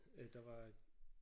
Øh der var